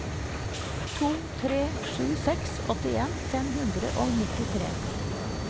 to tre sju seks åttien fem hundre og nittitre